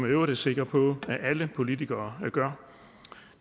i øvrigt er sikker på at alle politikere gør